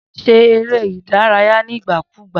Se eré ìdárayé nígbà kúgbà